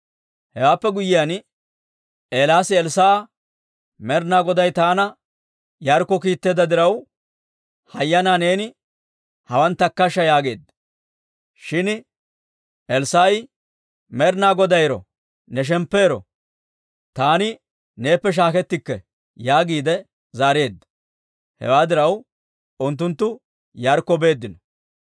Hewaappe guyyiyaan, Eelaasi Elssaa'a, «Med'ina Goday taana Yaarikko kiitteedda diraw, hayyanaa neeni hawaan takkashsha» yaageedda. Shin Elssaa'i, «Med'ina Goday ero! Ne shemppu ero! Taani neeppe shaakkettikke» yaagiide zaareedda. Hewaa diraw, unttunttu Yaarikko beeddino.